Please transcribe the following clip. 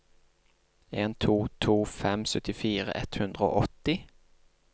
en to to fem syttifire ett hundre og åtti